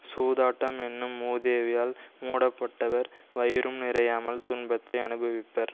சூதாட்டம் என்னும் மூதேவியால் மூடப்பட்டவர் வயிறும் நிறையாமல் துன்பத்தை அனுபவிப்பர்